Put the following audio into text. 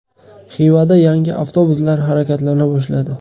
Xivada yangi avtobuslar harakatlana boshladi.